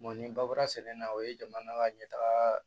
ni ba bɔra sɛnɛ na o ye jamana ka ɲɛtaga